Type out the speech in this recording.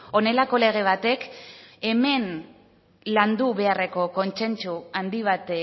honelako lege batek hemen landu beharreko kontsentsu handi bat